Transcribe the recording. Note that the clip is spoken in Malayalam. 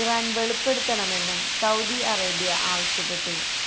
ഇറാന് വെളിപ്പെടുത്തണമെന്നും സൌദി അറേബ്യ ആവശ്യപ്പെട്ടു